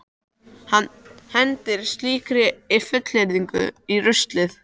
Hann hendir slíkri fullyrðingu í ruslið.